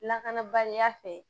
Lakanabaliya fɛ